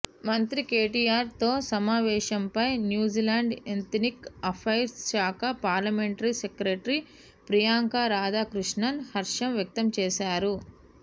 మంత్రి కేటీఆర్ తో సమావేశంపై న్యూజిలాండ్ ఎత్నిక్ అపైర్స్ శాఖ పార్లమెంటరీ సెక్రటరీ ప్రియాంక రాధాకృష్ణన్ హర్షం వ్యక్తం చేశారు